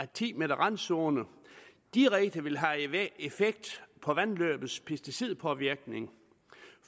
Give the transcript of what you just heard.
ti meter randzone direkte vil have effekt på vandløbets pesticidpåvirkning